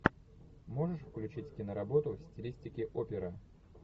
можешь включить киноработу в стилистике опера